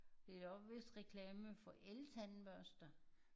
Det er da vist også nok reklame for eltandbørster